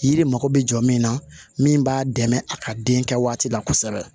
Yiri mako be jɔ min na min b'a dɛmɛ a ka den kɛ waati la kosɛbɛ